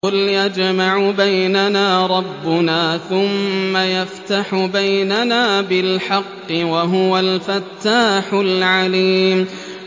قُلْ يَجْمَعُ بَيْنَنَا رَبُّنَا ثُمَّ يَفْتَحُ بَيْنَنَا بِالْحَقِّ وَهُوَ الْفَتَّاحُ الْعَلِيمُ